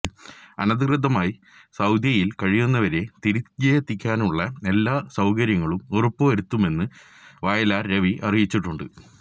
അനധികൃതമായി സൌദിയില് കഴിയുന്നവരെ തിരികെയെത്തിക്കാനുള്ള എല്ലാ സൌകര്യങ്ങളും ഉറപ്പുവരുത്തുമെന്ന് വയലാര് രവി അറിയിച്ചിട്ടുണ്ട്